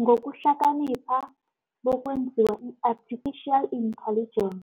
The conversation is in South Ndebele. Ngokuhlakanipha bekwenziwa i-artificial intelligence